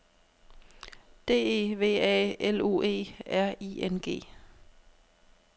D E V A L U E R I N G